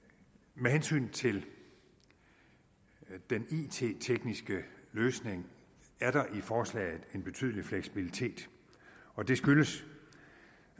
med hensyn til den it tekniske løsning er der i forslaget en betydelig fleksibilitet og det skyldes